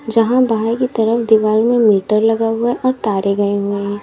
जहां बाहर की तरफ दीवार में मीटर लगा हुआ और तारे गए हुए हैं।